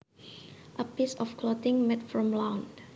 A piece of clothing made from lawn